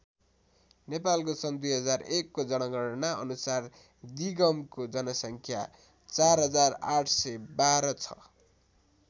नेपालको सन् २००१ को जनगणना अनुसार दिगमको जनसङ्ख्या ४८१२ छ।